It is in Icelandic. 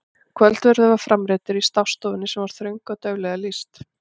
Kvöldverður var framreiddur í stássstofunni sem var þröng og dauflega lýst.